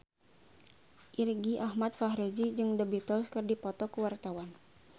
Irgi Ahmad Fahrezi jeung The Beatles keur dipoto ku wartawan